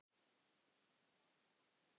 En stenst þetta?